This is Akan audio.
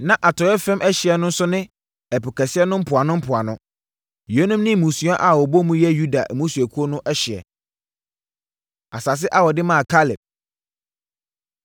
Na atɔeɛ fam ɛhyeɛ no nso ne Ɛpo Kɛseɛ no mpoanompoano. Yeinom ne mmusua a wɔbɔ mu yɛ Yuda mmusuakuo no ahyeɛ. Asase A Wɔde Maa Kaleb